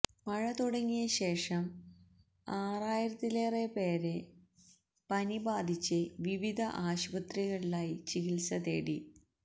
മഴ തുടങ്ങിയ ശേഷം ആറായിരത്തിലേറെപേര് പനി ബാധിച്ച് വിവിധ ആശുപത്രികളിലായി ചികിത്സ തേടി